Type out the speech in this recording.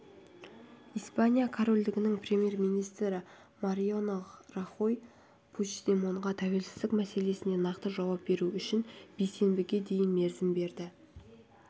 испания корольдігінің премьер-министрі мариано рахой пучдемонға тәуелсіздік мәселесіне нақты жауап беру үшін бейсенбіге дейін мерзім берді